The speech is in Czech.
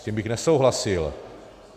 S tím bych nesouhlasil.